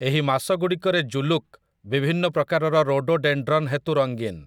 ଏହି ମାସଗୁଡ଼ିକରେ ଜୁଲୁକ୍ ବିଭିନ୍ନ ପ୍ରକାରର ରୋଡୋଡେଣ୍ଡ୍ରନ୍ ହେତୁ ରଙ୍ଗୀନ ।